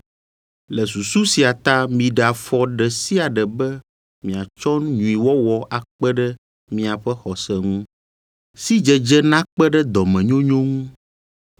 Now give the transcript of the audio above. Le susu sia ta miɖe afɔ ɖe sia ɖe be miatsɔ nyuiwɔwɔ akpe ɖe miaƒe xɔse ŋu, sidzedze nakpe ɖe dɔmenyonyo ŋu,